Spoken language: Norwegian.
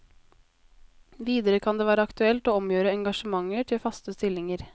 Videre kan det være aktuelt å omgjøre engasjementer til faste stillinger.